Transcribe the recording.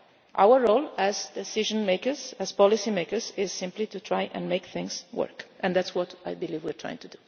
work. Our role as decision makers, as policy makers, is simply to try and make things work, and that is what I believe we are trying to do.